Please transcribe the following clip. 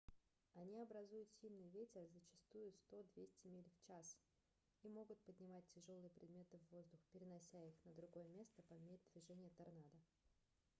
они образуют сильный ветер зачастую 100–200 миль/час и могут поднимать тяжёлые предметы в воздух перенося их на другое место по мере движения торнадо